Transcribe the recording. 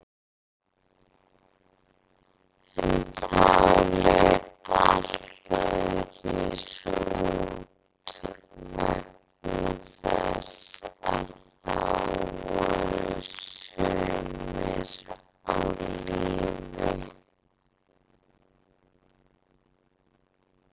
En þá leit allt öðruvísi út vegna þess að þá voru sumir á lífi.